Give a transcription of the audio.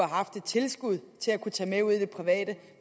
haft et tilskud til at kunne tage med ud i det private